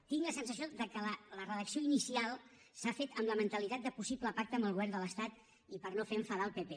tinc la sensació que la redacció inicial s’ha fet amb la mentalitat de possible pacte amb el govern de l’estat i per no fer enfadar al pp